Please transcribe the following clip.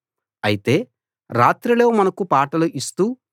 అయితే రాత్రిలో మనకు పాటలు ఇస్తూ